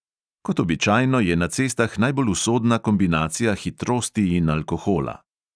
Kot običajno je na cestah najbolj usodna kombinacija hitrosti in alkohola.